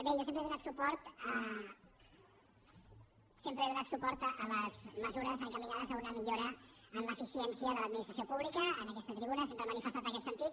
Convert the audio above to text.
bé jo sempre he donat suport a les mesures encaminades a una millora en l’eficiència de l’administració pública en aquesta tribuna sempre he manifestat aquest sentit